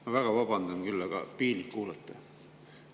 Ma väga vabandan, aga piinlik on kuulata.